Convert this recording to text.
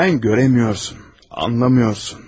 Sen göremiyorsun, anlamıyorsun.